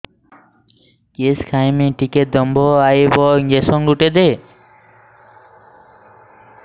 କିସ ଖାଇମି ଟିକେ ଦମ୍ଭ ଆଇବ ଇଞ୍ଜେକସନ ଗୁଟେ ଦେ